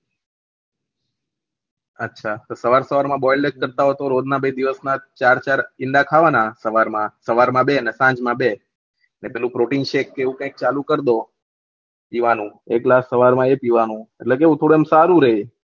અચ્છા તો સવાર સવાર ના બોઈલડ કરતા હોય્છો રોજ ના બે દિવસ ના ચાર ચાર ઈંડા ખાવાના સવાર માં બે અને આંજ માં બે અને પેલો પ્રોટીન શેક કે એવું ચાલુ કરી દો પીવાના એટલા સવાર માં એ પીવાનું એટલે કેવું થોડું સારું રેહ